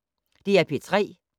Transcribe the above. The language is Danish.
DR P3